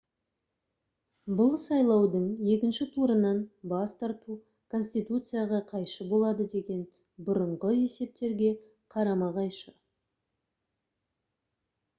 бұл сайлаудың екінші турынан бас тарту конституцияға қайшы болады деген бұрынғы есептерге қарама-қайшы